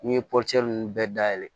N'i ye nunnu bɛɛ dayɛlɛ